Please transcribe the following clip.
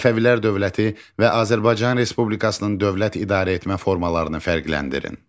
Səfəvilər dövləti və Azərbaycan Respublikasının dövlət idarəetmə formalarını fərqləndirin.